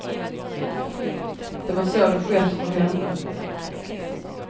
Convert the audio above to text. Det var så det skett för henne.